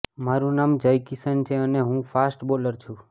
મારૂ નામ જયકિશન છે અને હું ફાસ્ટ બોલર છું